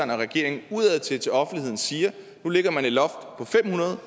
og regeringen udadtil til offentligheden siger at nu lægger man et loft på fem hundrede